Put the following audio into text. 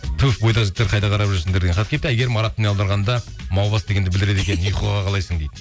түһ бойдақ жігіттер қайда қарап жүрсіңдер деген хат келіпті әйгерім араб тіліне аударғанда маубас дегенді білдіреді екен ұйқыға қалайсың дейді